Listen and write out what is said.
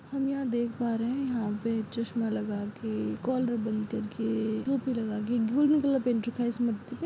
हम यहाँ देख पा रहे हैं यहाँ पे चश्मा लगाके कॉलर बंद करके टोपी लगाके गोल्डन कलर --